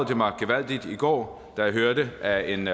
det mig gevaldig i går da jeg hørte at en